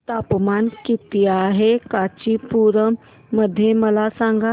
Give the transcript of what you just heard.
तापमान किती आहे कांचीपुरम मध्ये मला सांगा